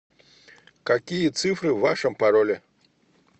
какие цифры в вашем пароле